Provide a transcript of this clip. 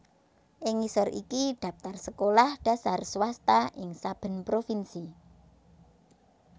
Ing ngisor iki dhaptar sekolah dhasar swasta ing saben provinsi